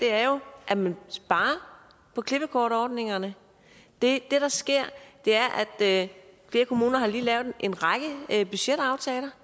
er jo at man sparer på klippekortordningerne det der sker er at flere kommuner lige har lavet en række budgetaftaler